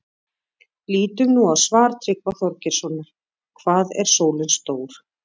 Lítum nú á svar Tryggva Þorgeirssonar, Hvað er sólin stór?